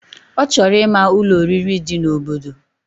Ochoro ima Ụlọ oririi di na obodo